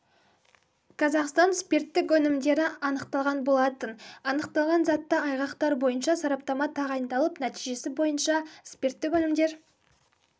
казахстан спирттік өнімдері анықталған болатын анықталған затты айғақтар бойынша сараптама тағайындалып нәтижесі бойынша спирттік өнімдер